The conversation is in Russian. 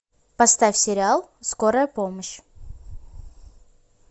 поставь сериал скорая помощь